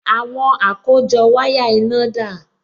Àwọn àkójọ wáyà iná dà?